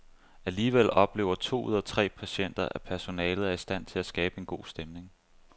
Alligevel oplever to ud af tre patienter, at personalet er i stand til at skabe god stemning.